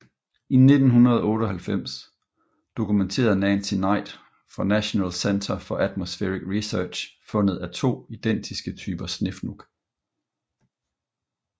I 1998 dokumenterede Nancy Knight fra National Center for Atmospheric Research fundet af to identiske typer snefnug